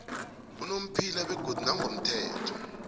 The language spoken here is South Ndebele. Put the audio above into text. unomphela begodu nangokomthetho